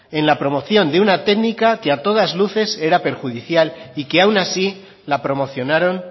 en la promoción de una técnica que a todas luces era perjudicial y que aun así la promocionaron